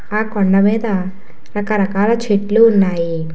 ఆ కొండమీద రకరకాల చెట్లు ఉన్నాయి.